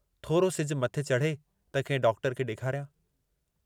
थोरो सिजु मथे चढ़े त कंहिं डॉक्टर खे ॾेखारियां।